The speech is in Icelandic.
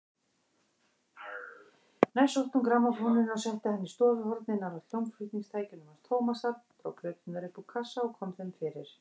Næst sótti hún grammófóninn og setti hann í stofuhornið nálægt hljómflutningstækjunum hans Tómasar, dró plöturnar upp úr kassa og kom þeim fyrir.